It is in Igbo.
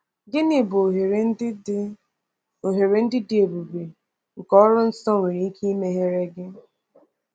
Gịnị bụ ohere ndị dị ohere ndị dị ebube nke ọrụ nsọ nwere ike imegheere gị?